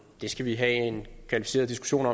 det skal vi have en kvalificeret diskussion